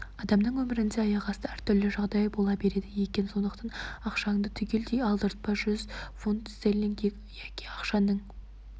адамның өмірінде аяқасты әр түрлі жағдай бола береді екен сондықтан ақшаңды түгелдей алдыртпа жүз фунт стерлинг яки ақшаңның